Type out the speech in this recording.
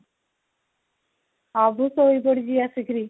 ଅଭି ଶୋଇ ପଡିଛି ଆସି କିରି